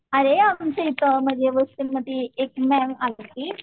अरे आमचे इथे म्हणजे एक मॅडम आलती